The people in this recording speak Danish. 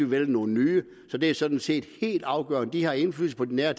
vælge nogle nye så det er sådan set helt afgørende de har indflydelse på de nære